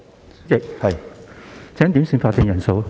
我要求點算法定人數。